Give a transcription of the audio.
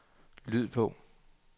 lyd på